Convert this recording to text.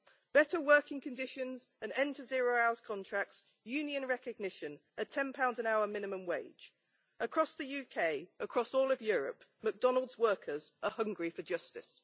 Better working conditions, an end to zero hours contracts, union recognition, a GBP 10 an hour minimum wage. Across the UK, across all of Europe, McDonalds workers are hungry for justice.